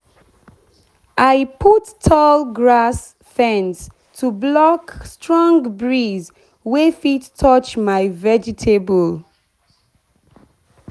i put tall grass fence to block strong breeze wey fit touch my vegetable.